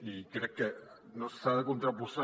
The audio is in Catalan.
i crec que no s’ha de contraposar